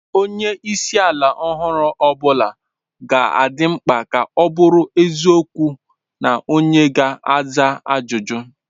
Onye isi ala ọhụrụ ọ bụla ga-adị mkpa ka ọ bụrụ eziokwu na onye ga-aza ajụjụ.